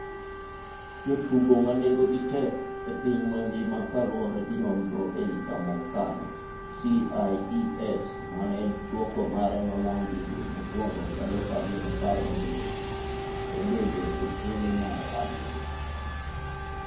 Jotugo manengo gi tek e piny mangima kaluore gi nonro e higa mokalo CIES mane dwoko mare nolandi dwe mokwongo 2017, nobede e thuolo mar 7.